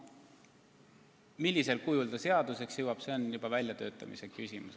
Millisel kujul see lahendus seaduseks saab, on juba väljatöötamise küsimus.